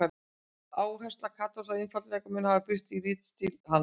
Áhersla Katós á einfaldleika mun hafa birst í ritstíl hans.